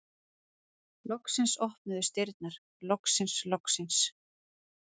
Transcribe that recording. Loksins opnuðust dyrnar, loksins, loksins!